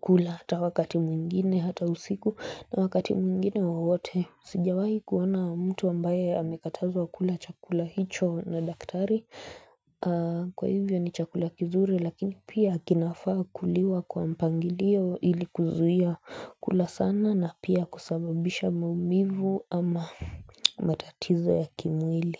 kula hata wakati mwingine hata usiku na wakati mwingine wowote sijawahi kuona mtu ambaye amekatazwa kula chakula hicho na daktari kwa hivyo ni chakula kizuri Lakini pia kinafaa kuliwa kwa mpangilio ili kuzuia kula sana na pia kusababisha maumivu ama matatizo ya kimwili.